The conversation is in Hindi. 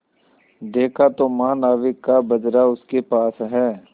देखा तो महानाविक का बजरा उसके पास है